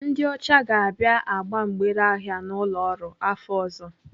Ndị ọcha ga-abịa agba mgbere ahịa n'ụlọ ọrụ afọ ọzọ.